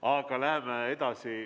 Aga läheme edasi.